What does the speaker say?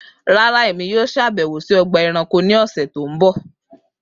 Rara Emi yoo ṣabẹwo si ọgba ẹranko ni ọsẹ ti n bọ